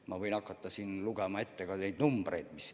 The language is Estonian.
Ma võin hakata siin ette lugema ka teatud numbreid.